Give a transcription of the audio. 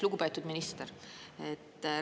Lugupeetud minister!